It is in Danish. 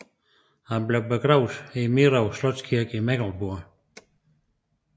Han blev begravet i Mirow Slotskirke i Mecklenburg